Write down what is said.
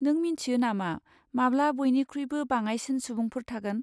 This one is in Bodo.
नों मिन्थियो नामा माब्ला बयनिख्रुइबो बाङाइसिन सुबुंफोर थागोन?